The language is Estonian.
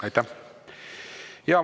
Aitäh!